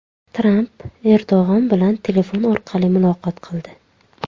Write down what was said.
Tramp Erdo‘g‘on bilan telefon orqali muloqot qildi.